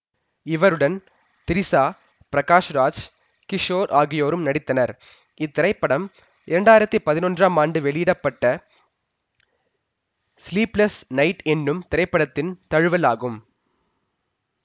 இவருடன் திரிசா பிரகாஷ் ராஜ் கிஷோர் ஆகியோரும் நடித்தனர் இத்திரைப்படம் இரண்டாயிரத்தி பதினொன்றாம் ஆண்டு வெளியிட பட்ட ஸ்லீப்லஸ் னைட் எனும் திரைப்படத்தின் தழுவல் ஆகும்